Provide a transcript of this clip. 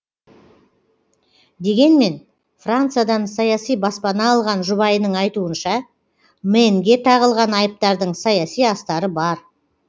дегенмен франциядан саяси баспана алған жұбайының айтуынша мэнге тағылған айыптардың саяси астары бар